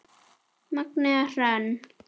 Magnea Hrönn.